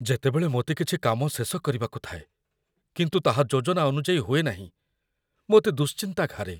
ଯେତେବେଳେ ମୋତେ କିଛି କାମ ଶେଷ କରିବାକୁ ଥାଏ କିନ୍ତୁ ତାହା ଯୋଜନା ଅନୁଯାୟୀ ହୁଏ ନାହିଁ, ମୋତେ ଦୁଶ୍ଚିନ୍ତା ଘାରେ।